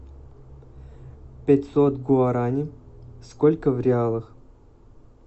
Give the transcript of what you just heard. пятьсот гуарани сколько в реалах